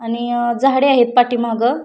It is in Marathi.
आणि झाडे आहेत पाठी मागे.